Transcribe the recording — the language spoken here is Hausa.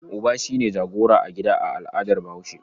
Uba shi ne jagora a gida a al'adar Bahaushe.